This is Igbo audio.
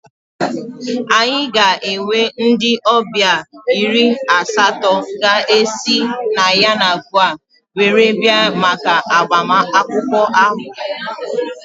Anyị ga-enwe ndị ọbịa iri asatọ ga-esi na Yenagoa were bịa maka agbamakwụkwọ ahụ